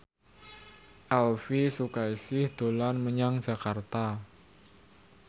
Elvi Sukaesih dolan menyang Jakarta